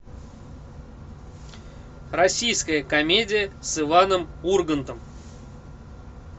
российская комедия с иваном ургантом